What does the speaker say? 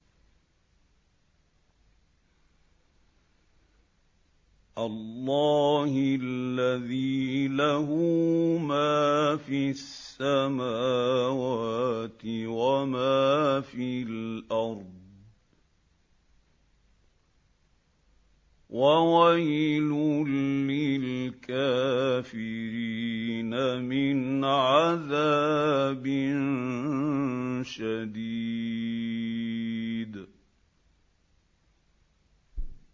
اللَّهِ الَّذِي لَهُ مَا فِي السَّمَاوَاتِ وَمَا فِي الْأَرْضِ ۗ وَوَيْلٌ لِّلْكَافِرِينَ مِنْ عَذَابٍ شَدِيدٍ